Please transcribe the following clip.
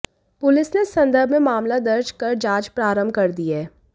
police ने इस संदर्भ में मामला दर्ज कर जांच प्रारंभ कर दी है